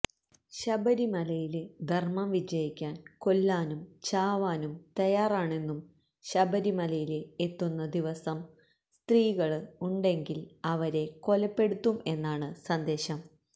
ശബരിമലയില് ധര്മ്മം വിജയിക്കാന് കൊല്ലാനും ചാവാനും തയ്യാറാണെന്നും ശബരിമലയില് എത്തുന്ന ദിവസം സ്ത്രീകള് ഉണ്ടെങ്കില് അവരെ കൊലപ്പെടുത്തും എന്നാണ് സന്ദേശം